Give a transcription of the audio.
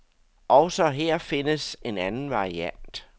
Også her findes en anden variant.